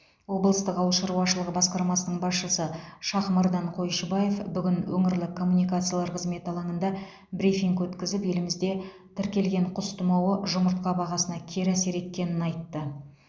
облыстық ауыл шаруашылығы басқармасының басшысы шахмардан қойшыбаев бүгін өңірлік коммуникациялар қызметі алаңында брифинг өткізіп елімізде тіркелген құс тұмауы жұмыртқа бағасына кері әсер еткенін айтты